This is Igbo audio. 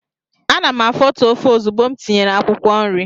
Ana m afotu ofe ozugbo m tinyere akwụkwọ nri.